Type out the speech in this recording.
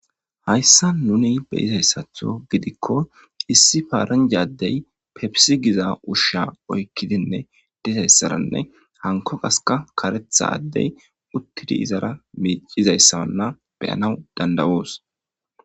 Hayssa nuni beyizayssatho gidikko issi paaranjadey pebisigiza ushsha oykkidinne dizayssaranne hanko gaska karetha addey uttidi izara miicizayssamanna beyanaw dandawoos.